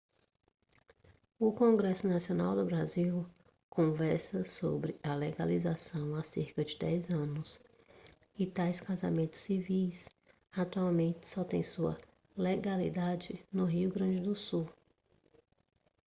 o congresso nacional do brasil conversa sobre a legalização há cerca de 10 anos e tais casamentos civis atualmente só têm sua legalidade no rio grande do sul